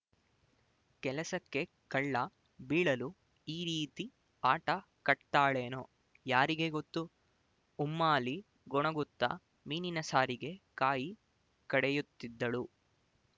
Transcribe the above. ಕೆಲಸಕ್ಕೆ ಕಳ್ಳ ಬೀಳಲು ಈ ರೀತಿ ಆಟ ಕಟ್ತಾಳೇನೊ ಯಾರಿಗೆ ಗೊತ್ತು ಉಮ್ಮಾಲಿ ಗೊಣಗುತ್ತಾ ಮೀನಿನ ಸಾರಿಗೆ ಕಾಯಿ ಕಡೆಯುತ್ತಿದ್ದಳು